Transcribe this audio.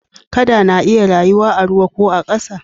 Kada na iya rayuwa a ruwa ko a ƙasa